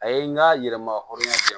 A ye n ka yɛlɛmahɔrɔn di yan